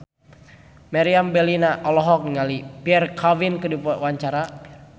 Meriam Bellina olohok ningali Pierre Coffin keur diwawancara